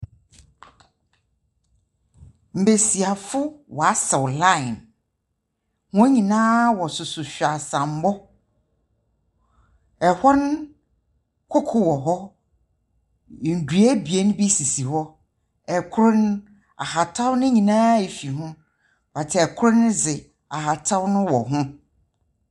Mbasiafo wɔasaw line. Hɔn nyinaa wɔsesa hweaseambɔ. Ɛhɔ no, koko wɔ hɔ. Ndua ebien bi sisi hɔ. Kor no, ahataw no nyinaa efiri ho, but kor no dze ahataw no wɔ ho.